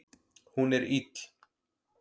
Hún er ill.